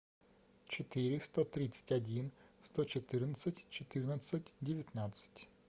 четыреста тридцать один сто четырнадцать четырнадцать девятнадцать